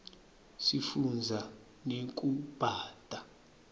sifunza nekubata